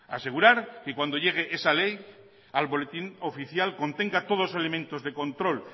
asegurar que cuando llegue esa ley al boletín oficial contenga todos los elementos de control